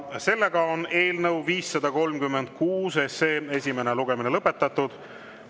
Eelnõu 536 esimene lugemine on lõpetatud.